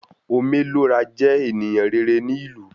Ome Lo Ra jẹ ènìyàn rere ní ìlú